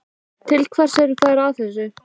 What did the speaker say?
Til hvers eru þeir að þessu?